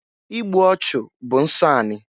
Igbu ọchụ bụ nsọ ani.